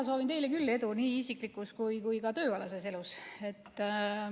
Mina soovin teile küll edu nii isiklikus kui ka tööalases elus.